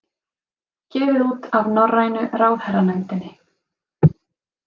Gefið út af Norrænu ráðherranefndinni.